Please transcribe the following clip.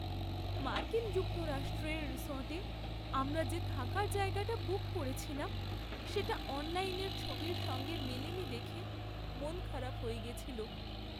মার্কিন যুক্তরাষ্ট্রের রিসর্টে আমরা যে থাকার জায়গাটা বুক করেছিলাম সেটা অনলাইনের ছবির সঙ্গে মেলেনি দেখে মনখারাপ হয়ে গেছিল।